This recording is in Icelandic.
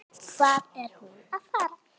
Hvað er hún að fara?